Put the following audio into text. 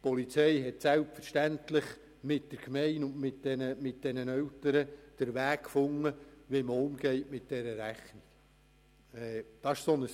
Die Polizei hat selbstverständlich mit der Gemeinde und den Eltern einen Weg gefunden, wie man mit dieser Rechnung umgeht.